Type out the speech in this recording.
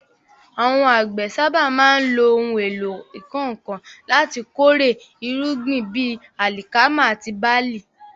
Àwọn àgbẹ̀ sábà máa ń lo ohun èlò ìkọ́ nǹkan láti kórè irúgbìn bíi alikama àti barle.